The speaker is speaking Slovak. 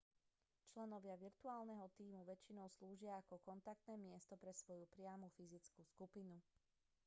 členovia virtuálneho tímu väčšinou slúžia ako kontaktné miesto pre svoju priamu fyzickú skupinu